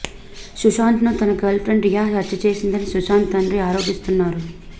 సుశాంత్ ను తన గర్ల్ఫ్రెండ్ రియా హత్య చేసిందని సుశాంత్ తండ్రి ఆరోపిస్తున్నారు